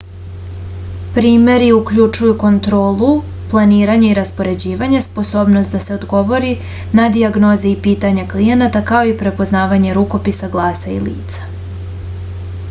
primeri uključuju kontrolu planiranje i raspoređivanje sposobnost da se odgovori na dijagnoze i pitanja klijenata kao i prepoznavanje rukopisa glasa i lica